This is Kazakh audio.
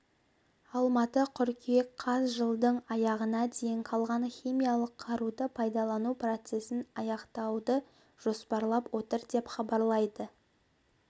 алматы қыркүйек қаз жылдың аяғына дейін қалған химиялық қаруды пайдалану процесін аяқтауды жоспарлап отыр деп хабарлайды